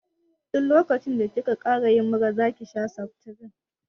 Duk lokacin da ki ka ƙara yin mura zaki sha seftirin